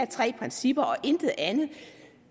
tre principper og intet andet